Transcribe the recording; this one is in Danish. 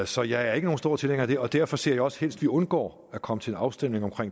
så jeg er ikke nogen stor tilhænger af det derfor ser jeg også helst at vi undgår at komme til en afstemning om